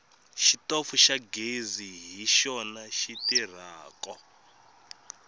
xitofu xa ghezi hi xona xi tirhako